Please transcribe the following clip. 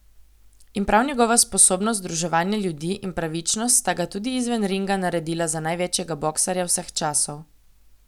In prav njegova sposobnost združevanja ljudi in pravičnost sta ga tudi izven ringa naredila za največjega boksarja vseh časov.